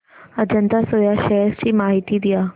Ajanta soya shares ची माहिती द्या